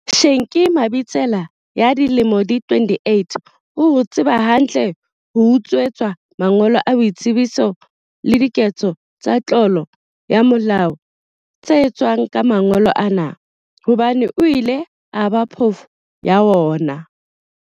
Shenki Mabitsela ya dilemo di 28 o ho tseba hantle ho utswetswa mangolo a boitsebiso le diketso tsa tlolo ya molao tse etswang ka mangolo ana, hobane o ile a ba phofu ya hona.